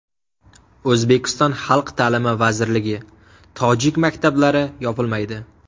O‘zbekiston Xalq ta’limi vazirligi: Tojik maktablari yopilmaydi.